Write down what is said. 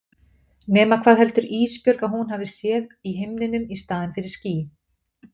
Nema hvað heldur Ísbjörg að hún hafi séð í himninum í staðinn fyrir ský.